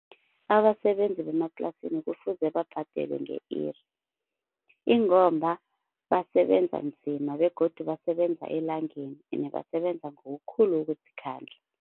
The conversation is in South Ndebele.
Abasebenzi bemaplasini kufuze babhadelwe nge-iri ingomba basebenza nzima begodu basebenza elangeni ene basebenza ngokukhulu ukuzikhandla.